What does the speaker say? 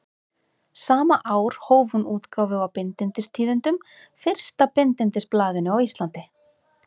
Sama ár hóf hún útgáfu á Bindindistíðindum, fyrsta bindindisblaðinu á Íslandi.